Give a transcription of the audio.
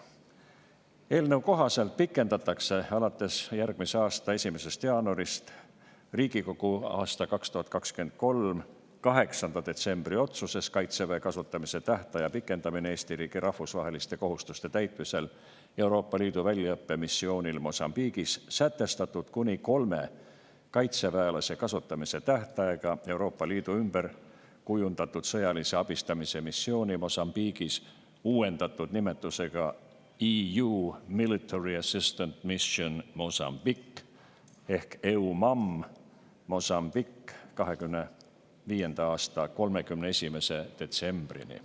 Eelnõu kohaselt pikendatakse alates järgmise aasta 1. jaanuarist Riigikogu 2023. aasta 8. detsembri otsuses "Kaitseväe kasutamise tähtaja pikendamine Eesti riigi rahvusvaheliste kohustuste täitmisel Euroopa Liidu väljaõppemissioonil Mosambiigis" sätestatud kuni kolme kaitseväelase kasutamise tähtaega Euroopa Liidu ümber kujundatud sõjalise abistamise missiooni Mosambiigis, uuendatud nimetusega EU Military Assistant Mission Mozambique ehk EUMAM Mozambique, 2025. aasta 31. detsembrini.